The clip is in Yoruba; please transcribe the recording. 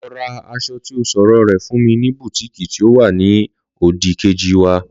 Lọ ra aṣọ ti ọ sọ̀rọ rè fún mi ní bùtíìkì tí ó wa ni òdì-kejì wa